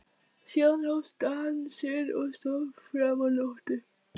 Síðan hófst dansinn og stóð fram á nótt.